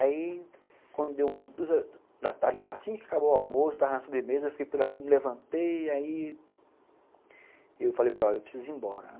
Aí, quando deu umas duas da tarde, assim que acabou o almoço, estava na sobremesa, eu fiquei por ali, me levantei, aí... Eu falei para ela, eu preciso ir embora.